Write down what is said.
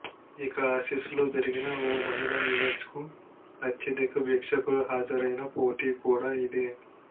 ఇక ఆసీస్లో జరిగిన ఓ మహిళల ఈవెంట్స్కు అత్యధిక వీక్షకులు హాజరైన పోటీ కూడా ఇదే